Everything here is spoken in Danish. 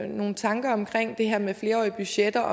nogle tanker om det her med flerårige budgetter